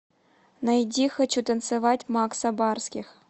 найди хочу танцевать макса барских